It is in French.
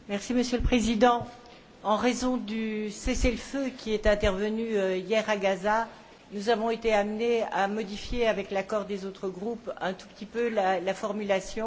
Monsieur le Président, en raison du cessez le feu qui est intervenu hier à Gaza, nous avons été amenés à modifier, avec l'accord des autres groupes, un tout petit peu la formulation.